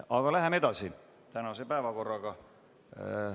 Aga läheme edasi tänase päevakorraga.